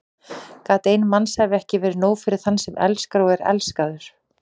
Gat ein mannsævi ekki verið nóg fyrir þann sem elskar og er elskaður?